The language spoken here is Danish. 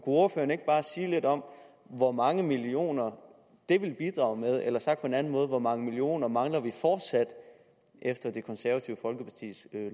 ordføreren ikke bare sige lidt om hvor mange millioner det vil bidrage med eller sagt på en anden måde hvor mange millioner mangler vi fortsat efter det konservative folkepartis